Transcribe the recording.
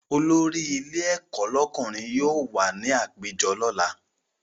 Olórí ilé ẹ̀kọ́ lọ́kùnrin yóò wà ní àpéjọ lọ́la